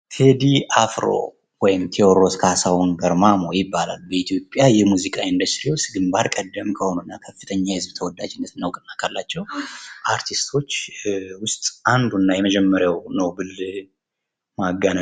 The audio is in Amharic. ቴዲ አፍሮ ወይም ቴዎድሮስ ካሳሁን ገርማሞ ይባላል። በኢትዮጵያ የሙዚቃ ኢንደስትሪ ውስጥ ግባር ቀደም ከሆኑና ከፍተኛ የህዝብ ተወዳጅነትና እውቅና ካለቸው አርቲስቶች ውስጥ አንዱና የመጀመርያው ነው ብል ማጋነን